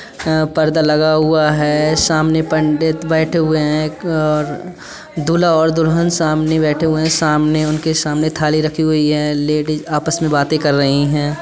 अ - पर्दा लगा हुआ है सामने पंडित बैठे हुए हैं एक और दूल्हा और दुल्हन सामने बैठे हुए हैं उनके सामने थाली रखी हुई हैलेडीज़ आपस में बातें कर रहीं हैं।